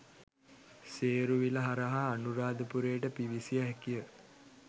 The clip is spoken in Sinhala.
සේරුවිල හරහා අනුරාධපුරයට පිවිසිය හැකිය.